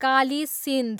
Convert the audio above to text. Kali Sindh